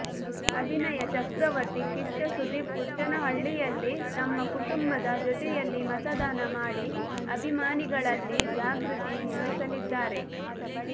ಅಭಿನಯ ಚಕ್ರವರ್ತಿ ಕಿಚ್ಚ ಸುದೀಪ್ ಪುಟ್ಟೇನಹಳ್ಳಿಯಲ್ಲಿ ತಮ್ಮ ಕುಟುಂಬದ ಜೊತೆಯಲ್ಲಿ ಮತದಾನ ಮಾಡಿ ಅಭಿಮಾನಿಗಳಲ್ಲಿ ಜಾಗೃತಿ ಮೂಡಿಸಲಿದ್ದಾರೆ